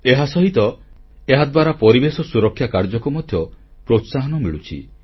ଏହାସହିତ ଏହାଦ୍ୱାରା ପରିବେଶ ସୁରକ୍ଷା କାର୍ଯ୍ୟକୁ ମଧ୍ୟ ପ୍ରୋତ୍ସାହନ ମିଳୁଛି